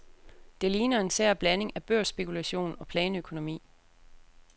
Det ligner en sær blanding af børsspekulation og planøkonomi.